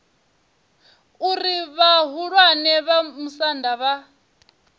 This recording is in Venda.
uri vhahulwane vha musanda vha